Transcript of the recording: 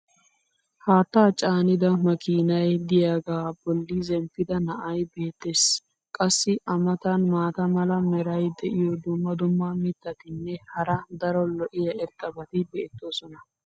Haattaa caanida makkiinay diyaagaa boli zemppida na'ay beetees. qassi a matan maata mala meray diyo dumma dumma mitatinne hara daro lo'iya irxxabati beetoosona.